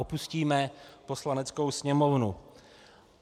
Opustíme Poslaneckou sněmovnu.